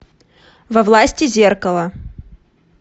во власти зеркала